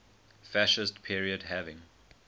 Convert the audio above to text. fascist period having